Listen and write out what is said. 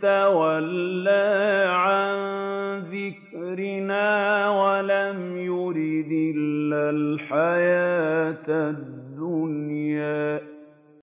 تَوَلَّىٰ عَن ذِكْرِنَا وَلَمْ يُرِدْ إِلَّا الْحَيَاةَ الدُّنْيَا